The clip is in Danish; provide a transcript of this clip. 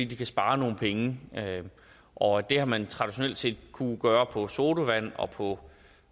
de kan spare nogle penge og det har man traditionelt set kunnet gøre på sodavand og på